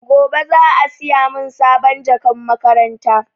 Gobe za a siya mun sabon jakan makaranta